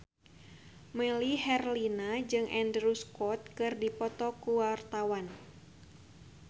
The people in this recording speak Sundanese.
Melly Herlina jeung Andrew Scott keur dipoto ku wartawan